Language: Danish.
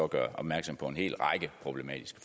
gør opmærksom på en hel række problematiske